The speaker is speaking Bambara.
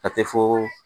A tɛ fo